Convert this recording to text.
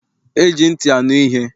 E ji ntị anu ihe.